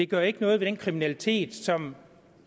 gør ikke noget ved den kriminalitet som